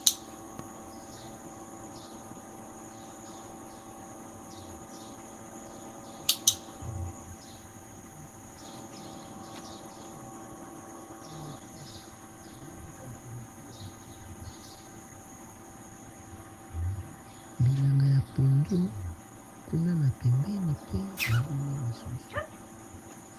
bilanga ya pondo kuna na pembeni mpe baloni lisusu